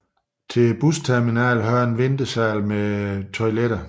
Til busterminalen hører en ventesal med toiletter